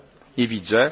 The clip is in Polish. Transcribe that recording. poniedziałku?